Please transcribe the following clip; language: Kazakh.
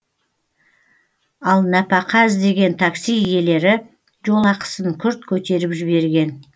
ал нәпақа іздеген такси иелері жолақысын күрт көтеріп жіберген